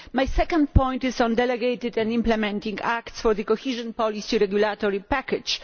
My second point is on delegated and implementing acts for the cohesion policy regulatory package.